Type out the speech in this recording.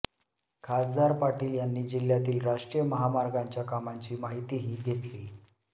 खासदार पाटील यांनी जिल्ह्यातील राष्ट्रीय महामार्गांच्या कामांची माहितीही घेतली